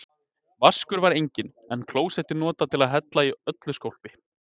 Vaskur var enginn, en klósettið notað til að hella í öllu skólpi.